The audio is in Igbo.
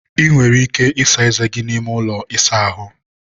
ị nwere ike ịsa eze n'ime ụlọ ịsa ahụ